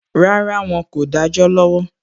Rárá, Wọn kò dájọ́ lọ́wọ́